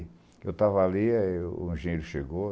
Eu estava ali, aí o engenheiro chegou.